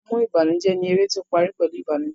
Ajẹmọ́ìbànújẹ́ ni eré tí ó parí pẹ̀lú Ìbànùjẹ́